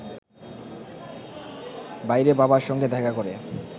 বাইরে বাবার সঙ্গে দেখা করে